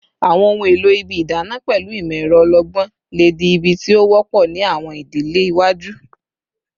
Awọn ohun elo ibi idana pẹlu imọ-ẹrọ ọlọgbọn le di ibi ti o wọpọ ni awọn idile iwaju